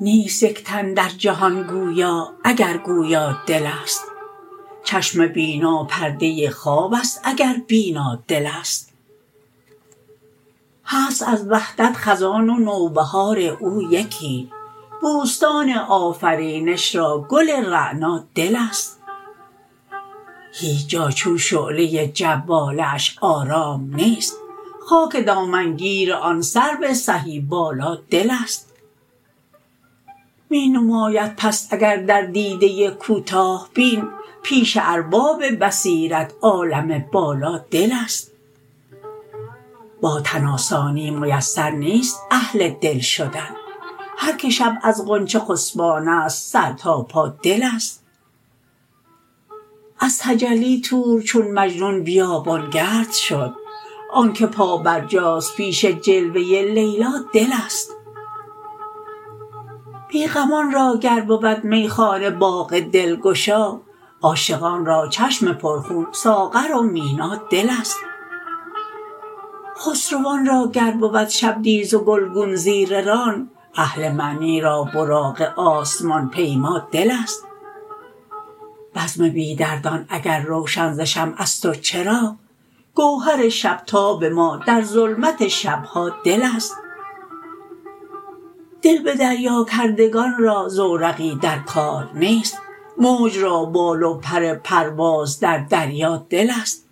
نیست یک تن در جهان گویا اگر گویا دل است چشم بینا پرده خواب است اگر بینا دل است هست از وحدت خزان و نوبهار او یکی بوستان آفرینش را گل رعنا دل است هیچ جا چون شعله جواله اش آرام نیست خاک دامنگیر آن سرو سهی بالا دل است می نماید پست اگر در دیده کوتاه بین پیش ارباب بصیرت عالم بالا دل است با تن آسانی میسر نیست اهل دل شدن هر که شب از غنچه خسبان است سر تا پا دل است از تجلی طور چون مجنون بیابانگرد شد آن که پا برجاست پیش جلوه لیلا دل است بیغمان را گر بود میخانه باغ دلگشا عاشقان را چشم پر خون ساغر و مینا دل است خسروان را گر بود شبدیز و گلگون زیر ران اهل معنی را براق آسمان پیما دل است بزم بی دردان اگر روشن ز شمع است و چراغ گوهر شب تاب ما در ظلمت شبها دل است دل به دریاکردگان را زورقی در کار نیست موج را بال و پر پرواز در دریا دل است